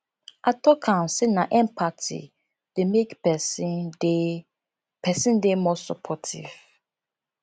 i tok am sey na empathy dey make pesin dey pesin dey more supportive